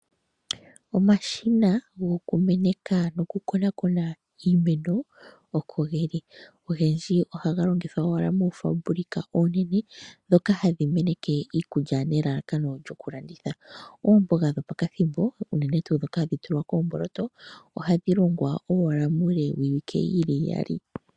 Omashina gokumeneka nokukonakona iimeno oko geli. Ogendji ohaga longithwa owala moofaabulika oonenene ndhoka hadhi meneke iikulya nelalakano lyokulanditha. Oomboga dhopakathimbo unene tuu ndhoka hadhi tulwa koomboloto ohadhi longwa owala muule wiiwike yili iyali.